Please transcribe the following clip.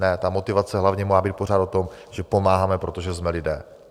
Ne, ta motivace hlavně má být pořád o tom, že pomáháme, protože jsme lidé.